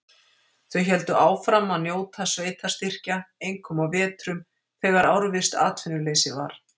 Þau héldu áfram að njóta sveitarstyrkja, einkum á vetrum, þegar árvisst atvinnuleysi var.